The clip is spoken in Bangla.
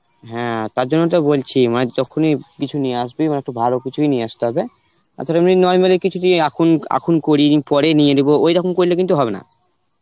হ্যাঁ তার জন্যই তো বলছি মানে যখনই কিছু নিয়ে আসবি মানে একটু ভালো কিছুই নিয়ে আসতে হবে তাছাড়া এমনি normal এ কিছুদিন আখুন আখুন করে নিই পরে নিয়ে নেব, ঐরকম করলে কিন্তু হবে না.